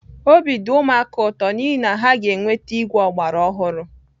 Obi dị ụmụaka ụtọ n'ihi na ha ga-enweta igwe ọgbara ọhụrụ